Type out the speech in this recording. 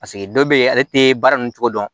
Paseke dɔw bɛ ye ale tɛ baara ninnu cogo dɔn